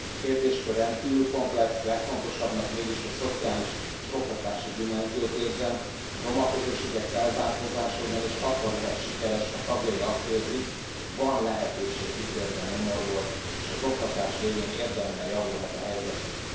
A kérdéskör rendkívül komplex, legfontosabbnak mégis a szociális és oktatási dimenziót érzem, a roma közösségek felzárkózása ugyanis akkor lehet sikeres, ha tagjai azt érzik van lehetőség kitörni a nyomorból, és az oktatás révén érdemben javulhat a helyzetük.